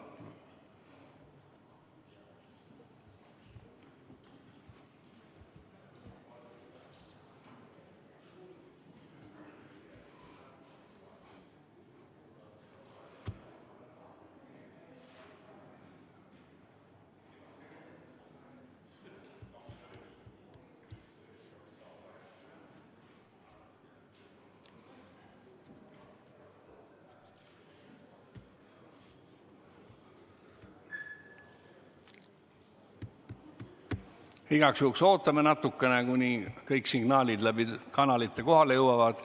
Igaks juhuks ootame natukene, kuni kõik signaalid läbi kanalite kohale jõuavad.